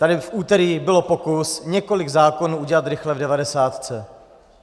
Tady v úterý byl pokus několik zákonů udělat rychle v devadesátce.